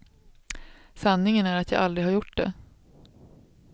Sanningen är att jag aldrig har gjort det.